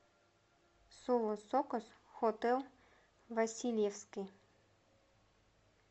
соло сокос хотэл васильевский